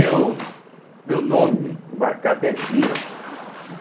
meu nome embarcado é Zira.